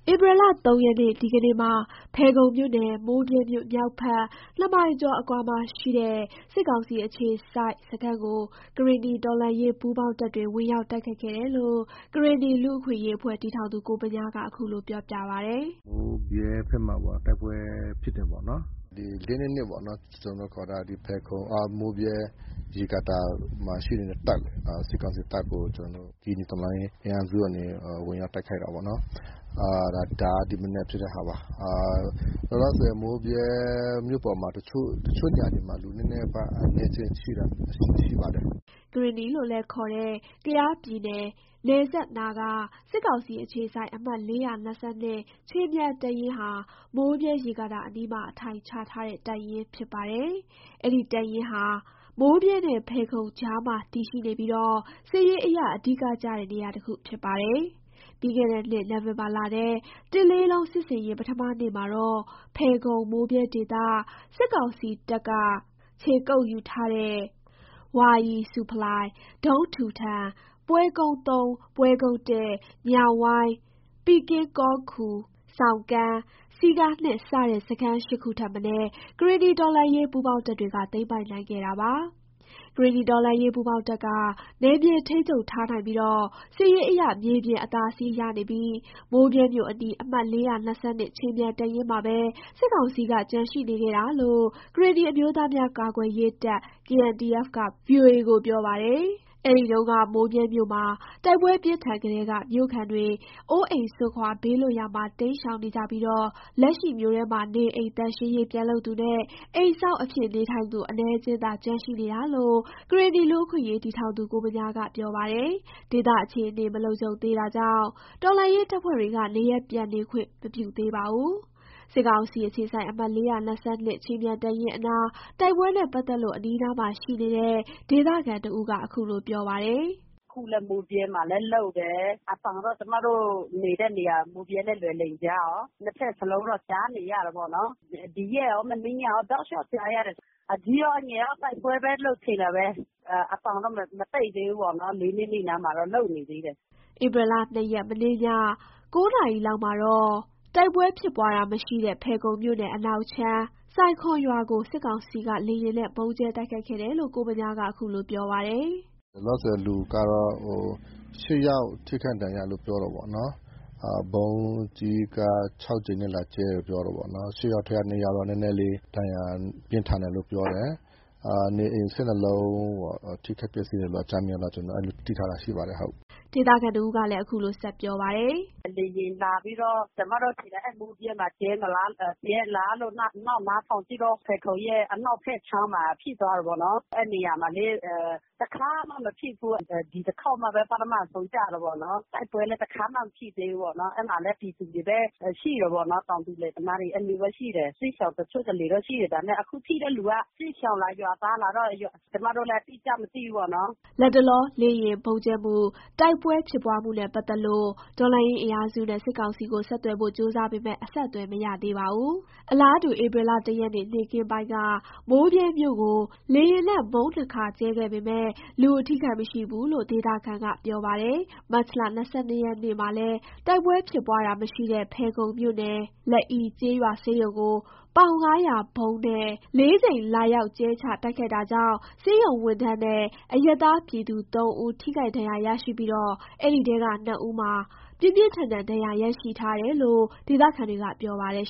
ဧပြီလ ၃ ရက် ဒီကနေ့မှာ ဖယ်ခုံမြို့နယ် မိုးဗြဲမြို့ မြောက်ဘက် ၂မိုင်ကျော် အကွာမှာရှိတဲ့ စစ်ကောင်စီအခြေစိုက် စခန်းကို ကရင်နီ တော်လှန်ရေးပူးပေါင်းတပ်တွေ ဝင်ရောက် တိုက်ခိုက်ခဲ့တယ်လို့ ကရင်နီလူ့အခွင့်အရေးအဖွဲ့ တည်ထောင်သူ ကိုဗညားက အခုလို ပြောပါတယ်။ “မိုးဗြဲဖက်မှာပေါ့ တိုက်ပွဲဖြစ်တယ်ပေါ့နော်။ ဒီ ၄၂၂ ပေါ့နော် ကျနော်တို့ ခေါ်တာ မိုးဗြဲ ရေကာတာမှာရှိနေတဲ့ စစ်ကောင်စီတပ်ကို ကျနော်တို့ ကရင်နီ တော်လှန်ရေးအင်အားစုကနေ ဝင်ရောက်တိုက်ခိုက်တာပေါ့နော်။ ဒါက ဒီမနက်ဖြစ်တဲ့ဟာပါ၊ လောလောဆယ် မိုးဗြဲမြို့ပေါ်မှာ တချို့နေရာတွေမှာ လူနည်းနည်းပါးပါး အနည်းအကျဉ်းရှိပါတယ်။” ကရင်နီလို့လည်း ခေါ်တဲ့ ကယားပြည်နယ် နယ်စပ်နားက စစ်ကောင်စီအခြေစိုက် အမှတ် ခြေမြန်တပ်ရင်းဟာ မိုးဗြဲ ရေကာတာအနီးမှာ အထိုင်ချထားတဲ့ တပ်ရင်းဖြစ်ပါတယ်။ အဲ့ဒီတပ်ရင်းဟာ မိုးဗြဲနဲ့ ဖယ်ခုံ ကြားမှာ တည်ရှိနေပြီး စစ်ရေးအရ အဓိက ကျတဲ့ နေရာတခုဖြစ်ပါတယ်။ ပြီးခဲ့တဲ့နှစ် နိုဝင်ဘာလထဲ တစ်လေးလုံး စစ်ဆင်ရေး ပထမနေ့မှာတော့ ဖယ်ခုံ မိုးဗြဲဒေသ စစ်ကောင်စီတပ်က ခြေကုပ်ယူထားတဲ့ ဝါရီဆူဖလိုင်၊ ဒုန်းဒူထန်၊ ပွဲကုန်း ၊ ပွဲကုန်း ၊ ညောင်ဝိုင်း၊ ပီကင်းကောခူ၊ ဆောင်ကန်း၊ စည်ကား စတဲ့ စခန်း ၈ခု ထက်မနည်း ကရင်နီတော်လှန်ရေး ပူးပေါင်းတပ်တွေက သိမ်းပိုက်နိုင်ခဲ့တာပါ။ ကရင်နီတော်လှန်ရေးပူးပေါင်းတပ်က နယ်မြေထိန်းချုပ်ထားနိုင်ပြီး စစ်ရေးအရ မြေပြင် အသာစီး ရနေပြီး မိုးဗြဲမြို့ အနီး အမှတ် ခြေမြန်တပ်ရင်းမှာပဲ စစ်ကောင်စီက ကျန်ရှိနေခဲ့တာလို့ ကရင်နီအမျိုးသားများ ကွယ်ကာရေးတပ် က ဗွီအိုအေကို ပြောထားပါတယ်။ အဲ့ဒီတုန်းက မိုးဗြဲမြို့မှာ တိုက်ပွဲပြင်းထန်ကတည်းက မြို့ခံတွေ အိုးအိမ်စွန့်ခွာ ဘေးလွတ်ရာမှာ တိမ်းရှောင်နေကြပြီး လက်ရှိ မြို့ထဲမှာ နေအိမ်သန့်ရှင်းရေး ပြန်လုပ်သူနဲ့ အိမ်စောင့်အဖြစ် နေထိုင်သူ အနည်းငယ်သာ ကျန်ရှိနေတာလို့ ကရင်နီလူ့အခွင့်အရေး တည်ထောင်သူ ကိုဗညားက ပြောပါတယ်။ ဒေသအခြေအနေ မလုံခြုံသေးတာကြောင့် တော်လှန်ရေးတပ်ဖွဲ့တွေက နေရပ်ပြန်ခွင့် မပြုသေးပါဘူး။ စစ်ကောင်စီအခြေစိုက် အမှတ် ခြေမြန်တပ်ရင်းအနား တိုက်ပွဲနဲ့ ပတ်သက်လို့ အနီးအနားမှာ ရှိနေတဲ့ ဒေသခံတဦးက ခုလို ပြောပါတယ်။ “အခုလည်း မိုးဗြဲမှာတော့ လုပ်တယ်။ အသံတော့ ကျမတို့ နေတဲ့နေရာ မိုးဗြဲနဲ့ လွိုင်လင်ကြားမှာ အသံနှစ်ဖက်စလုံးတော့ ကြားနေရတာပေါ့နော်။ ဒီရက်ရော မနေ့ညရော တောက်လျှောက်ကြားရတယ်။ အကြီးရော အငယ်ရော တိုက်ပွဲပဲလို့ ထင်တာပဲ၊ အသံတော့ မတိတ်သေးဘူးပေါ့နော် ၄၂၂ နားမှာတော့ လုပ်နေသေးတယ်။” ဧပြီလ ၂ရက် မနေ့ည ၉ နာရီလောက်မှာတော့ တိုက်ပွဲဖြစ်ပွားတာမရှိတဲ့ ဖယ်ခုံမြို့နယ် အနောက်ခြမ်း ဆိုင်ခွန်ရွာကို စစ်ကောင်စီက လေယာဉ်နဲ့ ဗုံးကြဲတိုက်ခိုက်ခဲ့တယ်လို့ ကိုဗညားက ခုလို ပြောပါတယ်။ “လောလောဆယ် လူကတော့ ၈ ယောက် ထိခိုက်ဒဏ်ရာရတယ်လို့ ပြောတယ်ပေါ့နော်။ ဗုံးကြီးက ၆ကြိမ်လာကြဲတယ်ပြောတယ်ပေါ့နော်။ ၈ယောက်ထဲက ၂ယောက်တော့ နည်းနည်းလေး ဒဏ်ရာပြင်းထန်တယ်လို့ ပြောတယ်။ နေလုံး ၁၂ လုံးထိခိုက်ပျက်စီးတယ်လို့ အကြမ်းဖျင်းတော့ ကျနော်တို့ အဲ့လိုထားတာရှိပါတယ် ဟုတ်။” ဒေသခံတစ်ဦးကလည်း ခုလို ပြောပါတယ်။ “လေယာဉ်လာပြီးတော့ ကျမတို့အထင် အဲ့မိုးဗြဲမှာကြဲလာလို့ နောက် ကြည့်နားထောင်ကြည့်တော့ ဖယ်ခုံရဲ့ အနောက်ဖက်ခြမ်းမှာ ဖြစ်သွားတာပေါ့နော်။ အဲ့နေရာမှာလေ တခါမှာ မဖြစ်ဘူး။ ဒီတခေါက်မှာပဲ ပထမဆုံးကျတယ်ပေါ့နော်။ တိုက်ပွဲလည်း တခါမှ မဖြစ်သေးဘူးပေါ့နော်။ အဲ့မှာလည်း ပြည်သူတွေပဲ ရှိတယ်ပေါ့နော်၊ တောင်သူလယ်သမားတွေ အဲ့လိုမျိုးတော့ ရှိတယ်။ စစ်ရှောင်တချို့ တလေတော့ ရှိတယ် ဒါပေမယ့် အခုထိတဲ့လူက စစ်ရှောင်လား ရွာသားလားတော့ ကျမတို့လည်း အတိအကျမသိဘူးပေါ့နော်။” လတ်တလော လေယာဉ်ဗုံးကြဲမှု၊ တိုက်ပွဲဖြစ်ပွားမှုနဲ့ ပတ်သက်လို့ တော်လှန်ရေးအင်အားစုနဲ့ စစ်ကောင်စီကို ဆက်သွယ်ဖို့ ကြိုးစားပေမဲ့ အဆက်အသွယ်မရပါဘူး။ အလားတူ ဧပြီ ၁ ရက်နေ့ နေ့ခင်းပိုင်းက မိုးဗြဲမြို့ကို လေယာဉ်နဲ့ ၂ဗုံးကြဲခဲ့ပေမယ့် လူအထိအခိုက်မရှိဘူးလို့ ဒေသခံက ပြောပါတယ်။ မတ်လ ၂၂ ရက်နေ့မှာလည်း တိုက်ပွဲဖြစ်ပွားတာမရှိတဲ့ ဖယ်ခုံမြို့နယ်၊ လအိကျေးရွာ ဆေးရုံကို ပေါင် ၅၀၀ ဗုံးနဲ့ ၄ ကြိမ် လာရောက်ကြဲချ တိုက်ခိုက်တာကြောင့် ဆေးရုံဝန်ထမ်းနဲ့ အရပ်သားပြည်သူ ၃ဦး ထိခိုက်ဒဏ်ရာရရှိပြီး အဲ့ဒီထဲက ၂ဦးမှာ ပြင်းပြင်းထန်ထန် ဒဏ်ရာရရှိထားတယ်လို့ ဒေသခံတွေက ပြောပါတယ်